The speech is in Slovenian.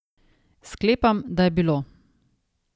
Sklepam, da je bilo.